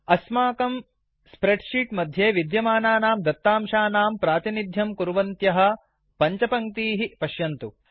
अस्माकं spreadsheet मध्ये विद्यमानानां दत्तांशानां प्रातिनिध्यं कुर्वन्त्यः पञ्चपङ्क्तीः पश्यन्तु